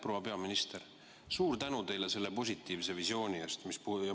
Proua peaminister, suur tänu teile selle positiivse visiooni eest!